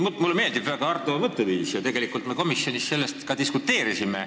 Mulle väga meeldib Arto mõtteviis ja tegelikult me komisjonis selle üle ka diskuteerisime.